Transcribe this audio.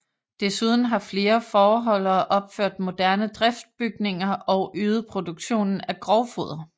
Desuden har flere fåreholdere opført moderne driftsbygninger og øget produktionen af grovfoder